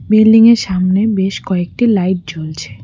বিল্ডিংয়ের সামনে বেশ কয়েকটি লাইট জ্বলছে।